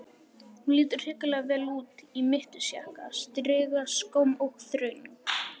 Hún lítur hrikalega vel út, í mittisjakka, strigaskóm og þröng